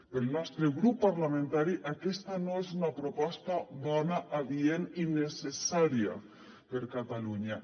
pel nostre grup parlamentari aquesta no és una proposta bona adient i necessària per a catalunya